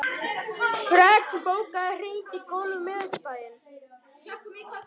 Fregn, bókaðu hring í golf á miðvikudaginn.